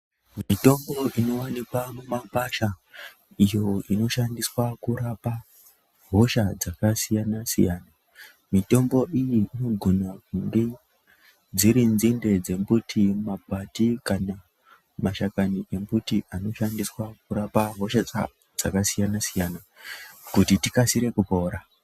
Mitombo inowanikwa mumakwasha iyo inoshandiswa kurapa hosha dzaka siyana siyana mitombo iyi inogona kunge dziri nzinde dzembuti makwati kana mashakani emuti anoshandiswa kurapa hosha dza dzakasiyana siyana kuti tikasire kupora.